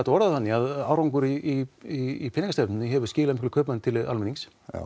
að orða það þannig að árangur í peningastefnunni hefur skilað auknum kaupmætti til almennings já